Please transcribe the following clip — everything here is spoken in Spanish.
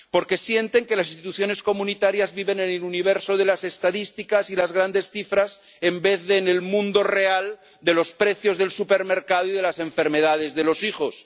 porque sienten que las instituciones comunitarias viven en el universo de las estadísticas y las grandes cifras en vez de en el mundo real de los precios del supermercado y de las enfermedades de los hijos